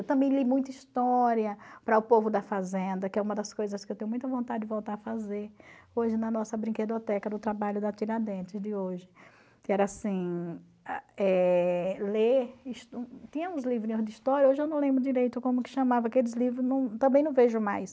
Eu também li muita história para o povo da fazenda, que é uma das coisas que eu tenho muita vontade de voltar a fazer, hoje na nossa brinquedoteca do trabalho da Tiradentes de hoje, que era assim, eh ler, tinha uns livrinhos de história, hoje eu não lembro direito como que chamava aqueles livros, também não vejo mais,